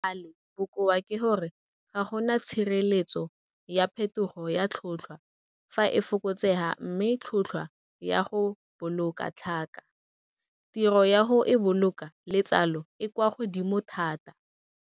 Le gale, bokoa ke gore ga go na tshireletso ya phethogo ya tlhotlhwa fa e fokotsega mme tlhotlhwa ya go boloka tlhaka, tiro ya go e boloka le tsalo e kwa godimo thata.